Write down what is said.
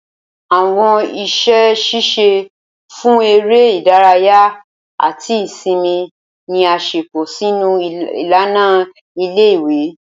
Awọn iṣẹ ṣiṣe fun ere idaraya ati isinmi ni a ṣepọ sinu ilana ìle-ìwe.